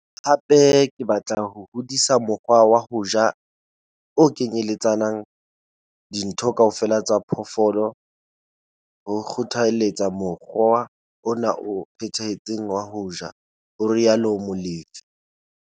"Hape ke batla ho hodisa mokgwa wa ho ja o kenyeletsang ditho kaofela tsa phoofolo, ho kgothaletsa mokgwa ona o phethahetseng wa ho ja," ho rialo Molefe.